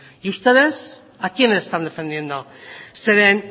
y ustedes a quiénes están defendiendo zeren